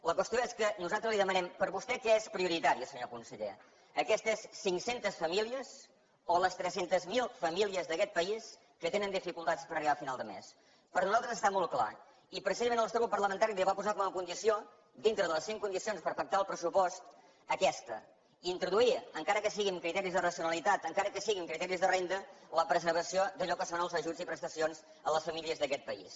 la qüestió és que nosaltres li demanem per vostè què és prioritari senyor conseller aquestes cinc centes famílies o les tres cents miler famílies d’aquest país que tenen dificultats per arribar a final de mes per nosaltres està molt clar i precisament el nostre grup parlamentari li va posar com a condició dintre de les cinc condicions per pactar el pressupost aquesta introduir encara que sigui amb criteris de racionalitat encara que sigui amb criteris de renda la preservació d’allò que són els ajuts i prestacions a les famílies d’aquest país